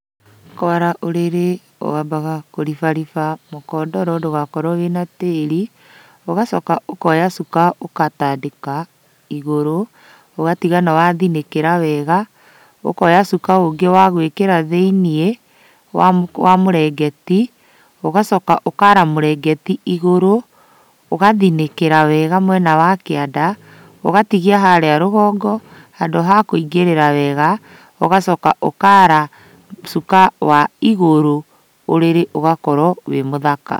Kwara ũrĩrĩ wambaga kũribariba mũkondoro ndũgakorwo wĩna tĩri, ũgacoka ũkoya cuka ũgatandĩka igũrũ ũgatiga nĩ wathinĩkĩra wega. Ũkoya ũngĩ wa gwĩkĩra thĩiniĩ wa mũrengeti, ũgacoka ũkara mũrengeti igũrũ, ũgathinĩkĩra wega mwene wa kĩanda, ũgatigia harĩa rũgongo handũ hakũingĩrĩra wega, ũgacoka ũkara cuka wa igũrũ, ũrĩrĩ ũgakorwo wĩ mũthaka.